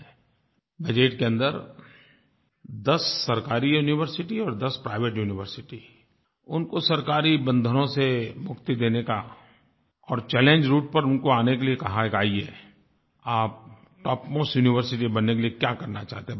budget के अन्दर दस सरकारी यूनिवर्सिटी और दस प्राइवेट यूनिवर्सिटी उनको सरकारी बंधनों से मुक्ति देने का और चैलेंज राउटे पर उनको आने के लिए कहा है कि आइये आप टॉप मोस्ट यूनिवर्सिटी बनने के लिए क्या करना चाहते हैं बताइये